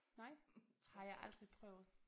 Nej? Det har jeg aldrig prøvet